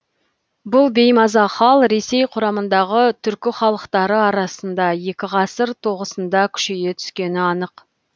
бұл беймаза хал ресей құрамындағы түркі халықтары арасында екі ғасыр тоғысында күшейе түскені анық